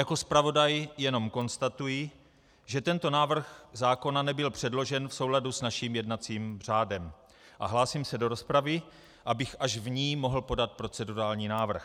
Jako zpravodaj jenom konstatuji, že tento návrh zákona nebyl předložen v souladu s naším jednacím řádem, a hlásím se do rozpravy, abych až v ní mohl podat procedurální návrh.